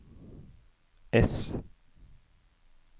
ess